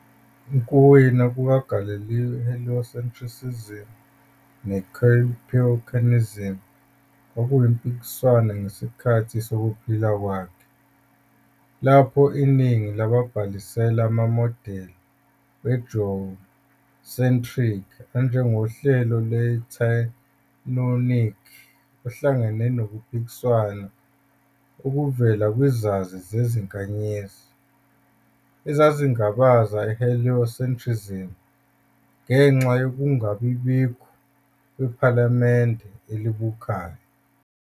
Ukuwina kukaGalileo i-heliocentrism ne-Copernicanism kwakuyimpikiswano ngesikhathi sokuphila kwakhe, lapho iningi lababhalisela amamodeli we-geocentric anjengohlelo lweTychonic. Uhlangane nokuphikiswa okuvela kwizazi zezinkanyezi, ezazingabaza i-heliocentrism ngenxa yokungabikho kwephalamende elibukhali.